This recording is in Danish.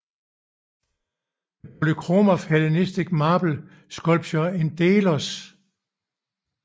The Polychromy of Hellenistic Marble Sculpture in Delos